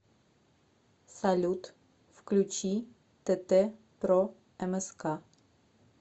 салют включи тэтэ про эмэска